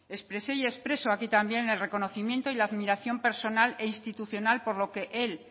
expresé y expreso aquí también el reconocimiento y la admiración personal e institucional por lo que él